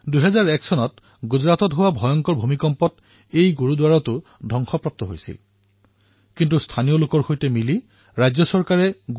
২০০১ চনত গুজৰাটত হোৱা বৃহৎ ভূমিম্পৰ ফলত সেই গুৰুদ্বাৰৰ বৃহৎ ক্ষতি হৈছিল কিন্তু স্থানীয় লোকসকলৰ সৈতে ৰাজ্য চৰকাৰে লগ হৈ যিদৰে ইয়াৰ পুনৰুদ্ধাৰ কৰিলে সেয়া আজিও এক উদাহৰণৰ বিষয়